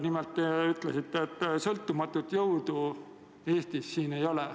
Nimelt, te ütlesite, et sõltumatut jõudu Eestis ei ole.